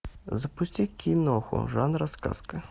запусти киноху жанра сказка